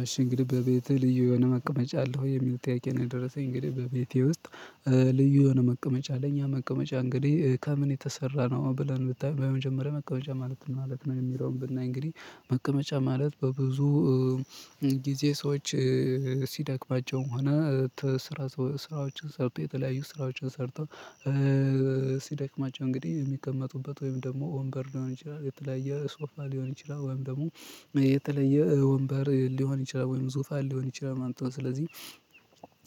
አሽ እንግዲህ በቤቴ ልዩ የሆነ መቀመጫ አለው የሚል ጥያቄ ነው የደረሰኝ እንግዲህ በቤቴ ውስጥ። ልዩ የሆነ መቀመጫ ለኛ መቀመጫ እንግዲህ ከምን የተሰራ ነው ብለን ብታየው በመጀመሪያ መቀመጫ ማለት ምን ማለት ነው? የሚለውን ብናይ እንግዲህ መቀመጫ ማለት በብዙ ጊዜ ሰዎች ሲደክማቸውም ሆነ ስራ ስራዎችን ሰርተው የተለያዩ ስራዎችን ሰርተው ሲደክማቸው እንግዲህ እሚቀመጡበት ወይም ደግሞ ወንበር ሊሆን ይችላል የተለያየ ሶፋ ሊሆን ይችላል ወይም ደግሞ የተለየ ወንበር ሊሆን ይችላል ወይንም ዙፋን ሊሆን ይችላል። እንተው ስለዚህ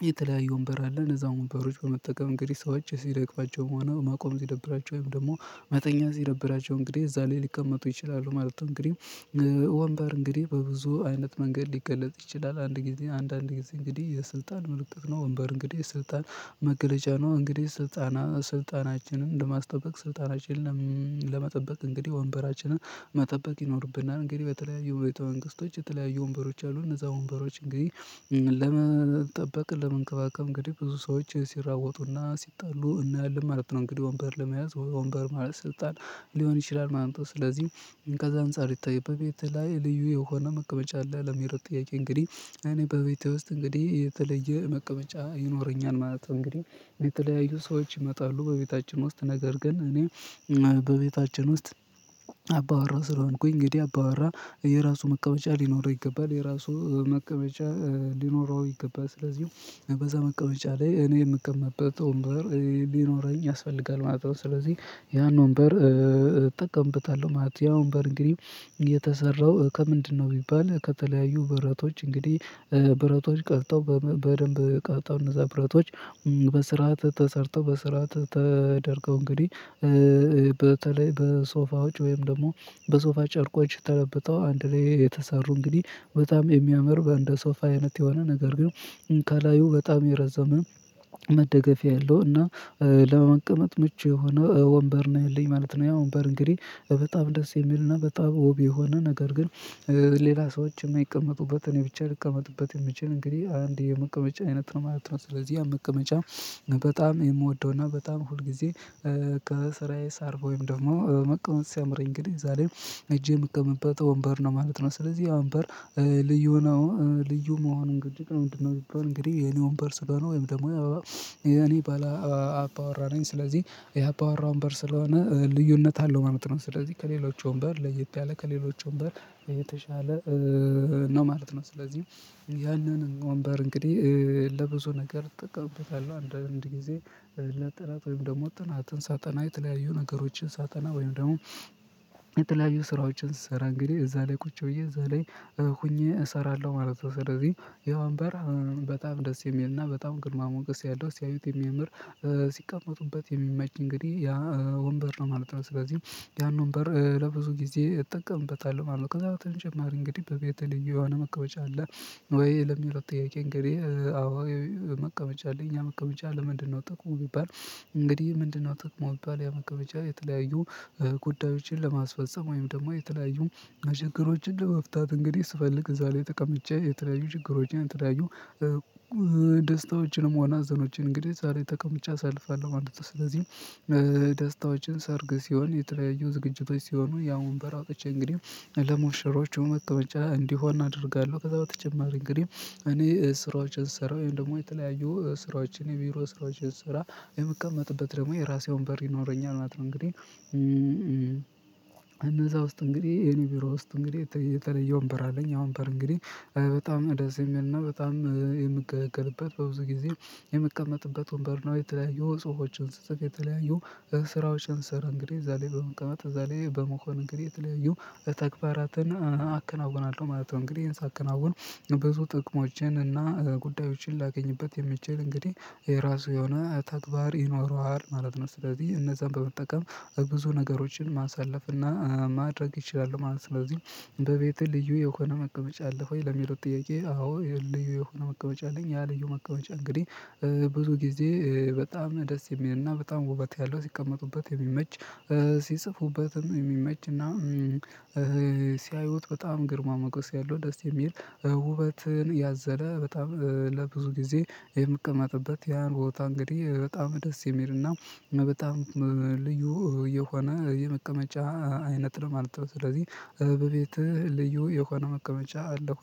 የተለያዩ ወንበር አለ እነዛን ወንበሮች በመጠቀም እንግዲህ ሰዎች ሲደክማቸውም ሆነ መቆም ሲደብራቸው ወይም ደግሞ መተኛት ሲደብራቸው እንግዲህ እዛ ላይ ሊቀመጡ ይችላሉ ማለት ነው። እንግዲህ ወንበር እንግዲህ በብዙ አይነት መንገድ ሊገለጽ ይችላል አንድ ጊዜ አንድ አንድ ጊዜ እንግዲህ የስልጣን ምልክት ነው። ወንበር እንግዲህ ስልጣን መገለጫ ነው እንግዲህ ስልጣና ስልጣናችንን ለማስጠበቅ ስልጣናችንን ለመጠበቅ እንግዲህ ወንበራችንን መጠበቅ ይኖርብናል። እንግዲህ በተለያዩ ቤተ መንግስቶች የተለያዩ ወንበሮች አሉ እነዛ ወንበሮች እንግዲህ ለመጠበቅ ለመንከባከብ እንግዲህ ብዙ ሰዎች ሲራወጡና ሲጣሉ እናያለን ማለት ነው። እንግዲህ ወንበር ለመያዝ ወንበር ማለት ስልጣን ሊሆን ይችላል ማለት ነው። ስለዚህ ከዛ አንፃር ይታየ በቤትህ ላይ ልዩ የሆነ መቀመጫ አለ ለሚለው ጥያቄ እንግዲህ እኔ በቤቴ ውስጥ እንግዲህ የተለየ መቀመጫ ይኖረኛል ማለት ነው። እንግዲህ የተለያዩ ሰዎች ይመጣሉ በቤታችን ውስጥ ነገር ግን እኔ በቤታችን ውስጥ አባወራ ስለሆንኩኝ እንግዲህ አባወራ የራሱ መቀመጫ ሊኖረው ይገባል የራሱ መቀመጫ ሊኖረው ይገባል። ስለዚህ በዛ መቀመጫ ላይ እኔ እምቀመጥበት ወንበር ሊኖረኝ ያስፈልጋል ማለት ነው ስለዚህ ያን ወንበር እጠቀምበታለሁ ማለት ነው። ያ ወንበር እንግዲ የተሰራው ከምንድነው? ቢባል ከተለያዩ ብረቶች እንግዲህ ብረቶች ቀልጠው በደንብ ቀልጠው እነዛ ብረቶች በስርዓት ተሰርተው በስርዓት ተደርገው እንግዲህ በተለይ በሶፋዎች ወይም ደግሞ በሶፋ ጨርቆች ተለብጠው አንድ ላይ የተሰሩ እንግዲህ በጣም የሚያምር በእንደ ሶፋ አይነት የሆነ ነገር ግን ከላዩ በጣም የረዘመ መደገፊያ የለውም። እና ለመቀመጥ ምቹ የሆነ ወንበር ነው ያልኝ ማለት ነው። ያ ወንበር እንግዲህ በጣም ደስ የሚልና በጣም ዉብ የሆነ ነገር ግን ሌላ ሰዎች እማይቀመጡበትን እኔ ብቻ ልቀመጥበት እምችል እንግዲህ አንድ የመቀመጫ አይነት ነው ማለት ነው። ስለዚህ ያ መቀመጫ በጣም የምወደውና በጣም ሁል ጊዜ ከስራዬ ሳርብ ወይም ደግሞ መቀመጥ ሲያምረኝ እንግዲህ እዛ ላይ ሄጄ እምቀመጥበት ወንበር ነው ማለት ነው። ስለዚህ ያ ወንበር ልዩ ነው ልዩ መሆኑን ግጭት ነው ምንድነው? ቢባል የኔ ወንበር ስለሆነ ወይም ደግሞ የኔ ባላ አባወራነኝ ነኝ ስለዚህ የአባወራ ወንበር ስለሆነ ልዩነት አለው ማለት ነው። ስለዚህ ከሌሎች ወንበር ለየት ያለ ከሌሎች ወንበር የተሻለ ነው ማለት ነው። ስለዚህ ያንን ወንበር እንግዲህ ለብዙ ነገር እጠቀምበታል አንዳንድ ጊዜ ለጥናት ወይም ደግሞ ጥናትን ሳጠና የተለያዩ ነገሮችን ሳጠና ወይም ደግሞ የተለያዩ ስራዎችን ስሰራ እንግዲህ እዛ ላይ ቁጭ ብዬ እዛ ላይ ሆኜ እሰራለሁ ማለት ነው። ስለዚህ ይህ ወንበር በጣም ደስ የሚልና በጣም ግርማ ሞገስ ያለው ሲያዩት የሚያምር ሲቀመጡበት የሚመች እንግዲህ ያ ወንበር ነው ማለት ነው። ስለዚህ ያን ወንበር ለብዙ ጊዜ እጠቀምበታለሁ ማለት ነው ከዛ በተጨማሪ እንግዲህ በቤተህ ልዩ የሆነ መቀመጫ አለ? ወይ ለሚለው ጥያቄ እንግዲህ አዎ መቀመጫ አለኝ። ያ መቀመጫ ለምንድነው ጥቅሙ ቢባል እንግዲህ ምንድነው? ጥቅሙ ቢባል ያመቀመጫ የተለያዩ ጉዳዮችን ለማስፈፀም ወይም ደግሞ የተለያዩ መችግሮችን ለመፍታት እንግዲህ ስፈልግ እዛ ላይ ጠቀምጬ የተለያዩ ችግሮችን የተለያዩ ደስታዎችንም ሆነ ሀዘኖችን እንግዲህ ዛሬ ተቀምጬ አሳልፋለሁ ማለት ነው። ስለዚህ ደስታዎችን ሰርግ ሲሆን የተለያዩ ዝግጅቶች ሲሆኑ ያ ወንበር አውጥቼ እንግዲህ ለሙሸሮቹ መቀመጫ እንዲሆን አደርጋለሁ። ከዛ በተጨማሪ እንግዲህ እኔ ስራዎችን ስሰራ ወይም ደግሞ የተለያዩ ስራዎችን የቢሮ ስራዎችን ስሰራ የምቀመጥበት ደግሞ የራሴው ወንበር ይኖረኛል ማለት ነው። እንግዲህ እነዛ ውስጥ እንግዲህ የኔ ቢሮ ውስጥ እንግዲህ የተለየ ወንበር አለኝ። ያ ወንበር እንግዲህ በጣም ደስ የሚልና በጣም የምገለገልበት በብዙ ጊዜ የምቀመጥበት ወንበር ነው። የተለያዩ ጽሁፎችን ስጽፍ የተለያዩ ስራዎችን ስሰራ እንግዲህ እዛ ላይ በመቀመጥ እዛ ላይ በመሆን እንግዲህ የተለያዩ ተግባራትን አከናውናለሁ ማለት ነው። እንግዲህ ይሄን ሳከናውን ብዙ ጥቅሞችንና እና ጉዳዮችን ላገኝበት የምችል እንግዲህ የራሱ የሆነ ተግባር ይኖረዋል ማለት ነው። ስለዚህ እነዛን በመጠቀም ብዙ ነገሮችን ማሳለፍ እና ማድረግ እችላለሁ ማለት ነው። ስለዚህ በቤቴ ልዩ የሆነ መቀመጫ አለህ? ወይ ለሚለው ጥያቄ አዎ ልዩ የሆነ መቀመጫ አለኝ። ያ ልዩ መቀመጫ እንግዲህ ብዙ ጊዜ በጣም ደስ የሚልና በጣም ውበት ያለው ሲቀመጡበት የሚመች ሲጽፉበትም የሚመችና ሲያዩት በጣም ግርማ ሞገስ ያለው ደስ የሚል ውበትን ያዘለ በጣም ለብዙ ጊዜ የምቀመጥበት ያን ቦታ እንግዲህ በጣም ደስ የሚል እና በጣም ልዩ የሆነ የመቀመጫ አይነት ነው ማለት ነው። ስለዚህ በቤትህ ልዩ የሆነ መቀመጫ አለህ? ወይ